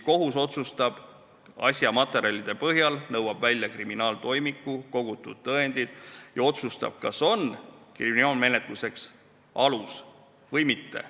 Kohus otsustab asja materjalide põhjal, nõuab välja kriminaaltoimiku ja kogutud tõendid ning otsustab, kas kriminaalmenetluseks on alust või mitte.